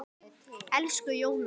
Elsku Jóna.